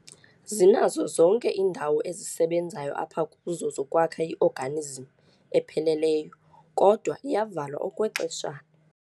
Zinazo zonke indawo ezisebenzayo apha kuzo zokwakha i-organism epheleleyo, kodwa iyavalwa okwexeshana.